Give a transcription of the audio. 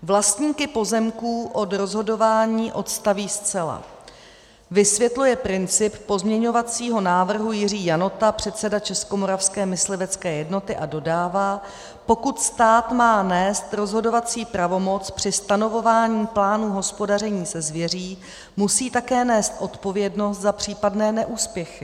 Vlastníky pozemků od rozhodování odstaví zcela,' vysvětluje princip pozměňovacího návrhu Jiří Janota, předseda Českomoravské myslivecké jednoty, a dodává: 'Pokud stát má nést rozhodovací pravomoc při stanovování plánů hospodaření se zvěří, musí také nést odpovědnost za případné neúspěchy.